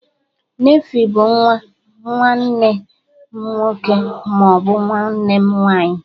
Nefiu bụ nwa, nwanne m nwọke ma ọ bu nwanne m nwanyị